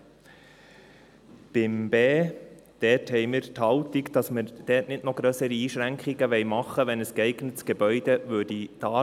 Zum Buchstabe b haben wir die Haltung, dass wir dort nicht noch grössere Einschränkungen machen wollen, wenn ein geeignetes Gebäude vorhanden wäre.